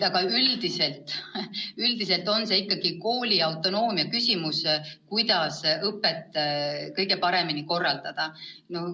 Aga üldiselt on see ikkagi kooli autonoomne otsus, kuidas õpet kõige paremini korraldada.